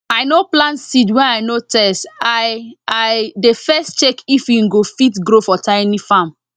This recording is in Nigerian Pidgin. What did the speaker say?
i no plant seed wey i no test i i dey first check if e go fit grow for tiny farm